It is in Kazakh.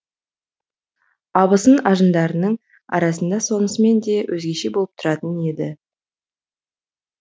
абысын ажындарының арасында сонысымен де өзгеше болып тұратын еді